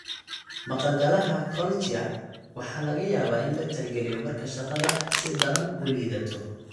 Maqa-galaha Cochlear waxaa laga yaabaa in la tixgeliyo marka shaqada si daran u liidato.